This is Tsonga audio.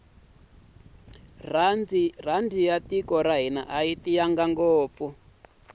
rhandi ya tiko ra hina ayi tiyanga ngopfu